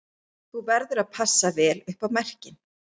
Þú verður að passa vel upp á merkin